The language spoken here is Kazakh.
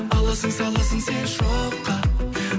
аласың саласың сен шоққа